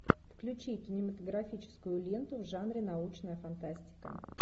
включи кинематографическую ленту в жанре научная фантастика